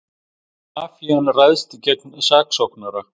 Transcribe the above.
Mafían ræðst gegn saksóknara